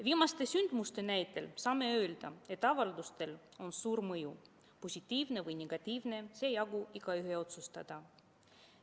Viimaste sündmuste näitel saame öelda, et avaldustel on suur mõju – positiivne või negatiivne, see jäägu igaühe otsustada.